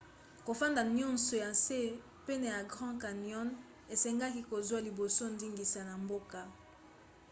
kofanda nyonso na nse pene ya grand canyon esengaka kozwa liboso ndingisa na mboka